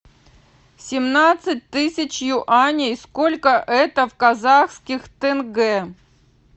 семнадцать тысяч юаней сколько это в казахских тенге